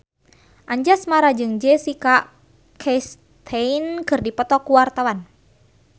Anjasmara jeung Jessica Chastain keur dipoto ku wartawan